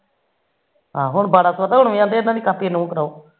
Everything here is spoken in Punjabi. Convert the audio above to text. ਆਹੋ ਪੇ ਹੁਣ ਬਾਰਾ ਸੋ ਦਾ ਇਹਨਾ ਦੀ ਕਾਪੀ